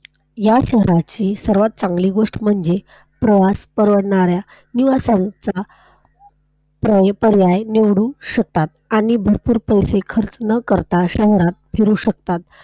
या शहराची सर्वात चांगली गोष्ट म्हणजे प्रवास परवडणाऱ्या युवासंख्या परिपर्याय निवडून शकतात आणि भरपूर पैसे खर्च न करता शहरात फिरू शकतात.